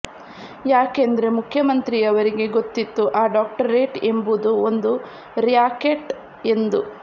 ಯಾಕೆಂದ್ರೆ ಮುಖ್ಯಮಂತ್ರಿಯವರಿಗೆ ಗೊತ್ತಿತ್ತು ಆ ಡಾಕ್ಟರೇಟ್ ಎಂಬುದು ಒಂದು ರ್ಯಾಕೆಟ್ ಎಂದು